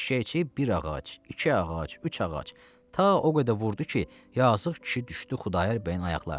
Eşşəkçi bir ağac, iki ağac, üç ağac, ta o qədər vurdu ki, yazıq kişi düşdü Xudayar bəyin ayaqlarına.